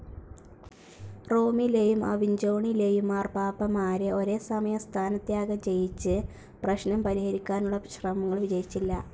റോമിലേയും അവിഞ്ചോണിലേയും മാർപ്പാപ്പമാരെ ഒരേസമയം സ്ഥാനത്യാഗം ചെയ്യിച്ച് പ്രശ്നം പരിഹരിക്കാനുള്ള ശ്രമങ്ങൾ വിജയിച്ചില്ല.